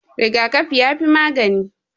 Rigakafi ya fi magani